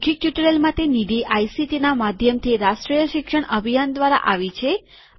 આ મૌખીક ટ્યુટોરીયલ માટે નિધિ આઇસીટીના માધ્યમથી રાષ્ટ્રીય શિક્ષણ અભિયાન દ્વારા આવી છે